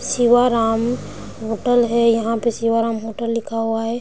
Sivaram hotel है यहाँ पे सिवाराम होटल लिख हुआ है।